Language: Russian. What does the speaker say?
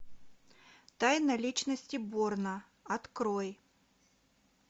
тайна личности борна открой